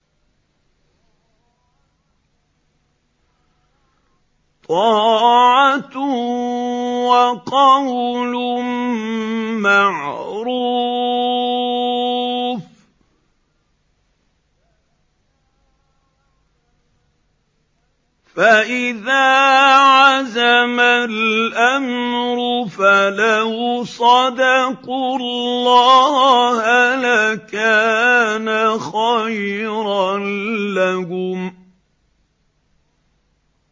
طَاعَةٌ وَقَوْلٌ مَّعْرُوفٌ ۚ فَإِذَا عَزَمَ الْأَمْرُ فَلَوْ صَدَقُوا اللَّهَ لَكَانَ خَيْرًا لَّهُمْ